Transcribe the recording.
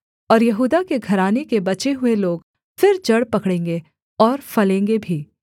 और यहूदा के घराने के बचे हुए लोग फिर जड़ पकड़ेंगे और फलेंगे भी